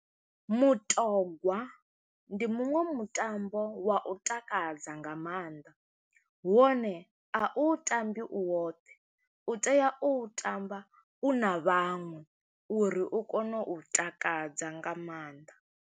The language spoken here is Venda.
Mutogwa ndi muṅwe mutambo wa u takadza nga maanḓa, wone a u tambi u woṱhe, u tea u tamba u na vhaṅwe, uri u kone u takadza nga maanḓa.